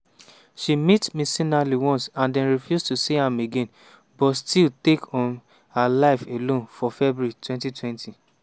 she meet mcinally once and den refuse to see am again but still take um her life alone for february 2020.